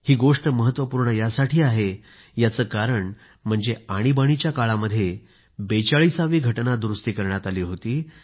ही गोष्ट महत्वपूर्ण यासाठी आहे याचे कारण म्हणजे आणीबाणीच्या काळामध्ये 42 वी घटना दुरूस्ती करण्यात आली होती